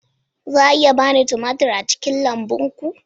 Za a iya ba ni tumatir daga lambun ku?